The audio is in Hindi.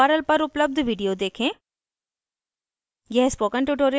इस url पर उपलब्ध video देखें